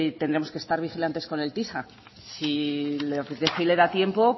tendremos que estar vigilantes con el tisa sile apetece y le da tiempo